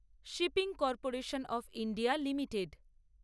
shipping corporation of India limited